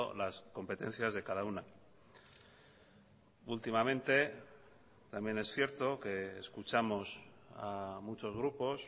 las competencias de cada una últimamente también es cierto que escuchamos a muchos grupos